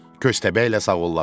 Köstəbəklə sağollaşdı.